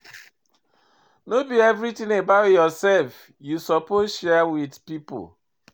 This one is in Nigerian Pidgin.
No be everytin about yoursef you suppose share wit pipo.